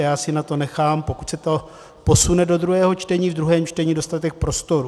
A já si na to nechám, pokud se to posune do druhého čtení, v druhém čtení dostatek prostoru.